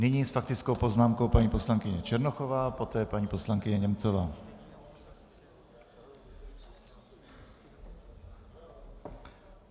Nyní s faktickou poznámkou paní poslankyně Černochová, poté paní poslankyně Němcová.